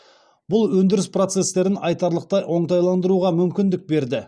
бұл өндіріс процестерін айтарлықтай оңтайландыруға мүмкіндік берді